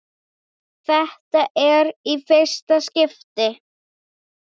Þetta er í fyrsta skipti.